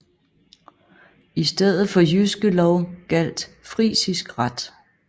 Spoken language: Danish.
I stedet for Jyske Lov gjaldt frisisk ret